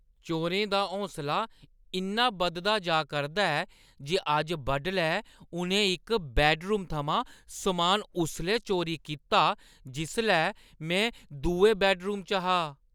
चोरें दा हौसला इन्ना बधदा जा करदा ऐ जे अज्ज बडलै उʼनें इक बैड्डरूम थमां समान उसलै चोरी कीता जिसलै में दुए बैड्डरूम च हा । (नागरिक)